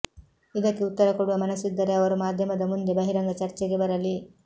ಇದಕ್ಕೆ ಉತ್ತರ ಕೊಡುವ ಮನಸ್ಸಿದ್ದರೆ ಅವರು ಮಾಧ್ಯಮದ ಮುಂದೆ ಬಹಿರಂಗ ಚರ್ಚೆಗೆ ಬರಲಿ